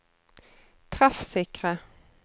treffsikre